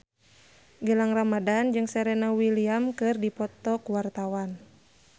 Gilang Ramadan jeung Serena Williams keur dipoto ku wartawan